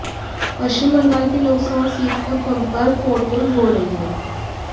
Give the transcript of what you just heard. पश्चिम बंगाल के लोकसभा सीट पर plumper voting हो रही है